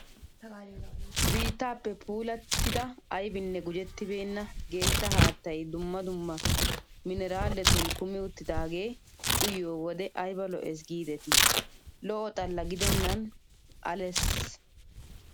Biittaappe pulttida ayibinne gujettibeenna geeshsha haattayi dumma dumma mineraaletun kumi uttidaagee uyiyoo wode ayiba lo''es giidetii. lo''o xalla gidennan ales.